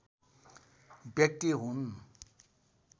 व्यक्ति हुन्